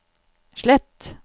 slett